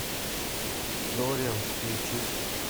дориан включи